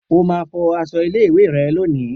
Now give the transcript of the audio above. O máa fọ aṣọ ilé ìwé rẹ lónìí!